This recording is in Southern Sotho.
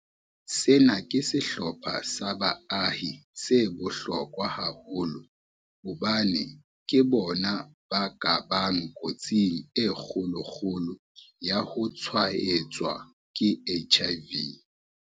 Sena ke sehlopha sa baahi se bohlokwa haholo hobane ke bona ba ka bang kotsing e kgolo-kgolo ya ho tshwaetswa ke HIV.